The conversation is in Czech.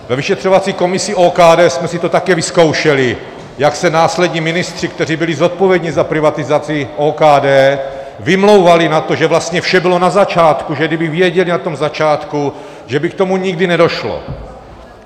Ve vyšetřovací komisi OKD jsme si to také vyzkoušeli, jak se následní ministři, kteří byli zodpovědní za privatizaci OKD, vymlouvali na to, že vlastně vše bylo na začátku, že kdyby věděli na tom začátku, že by k tomu nikdy nedošlo.